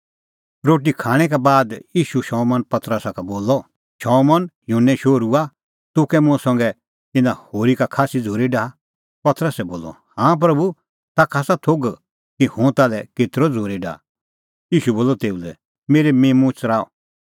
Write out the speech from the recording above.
रोटी खाणैं का बाद ईशू शमौन पतरसा का बोलअ शमौन युहन्ने शोहरूआ तूह कै मुंह संघै इना होरी का खास्सी झ़ूरी डाहा पतरसै बोलअ हाँ प्रभू ताखा आसा एसा गल्लो थोघ कि हुंह ताल्है केतरअ झ़ूरी डाहा ईशू बोलअ तेऊ लै मेरै मिम्मूं च़राऊ